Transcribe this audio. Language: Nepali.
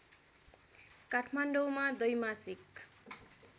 काठमाडौँमा द्वैमासिक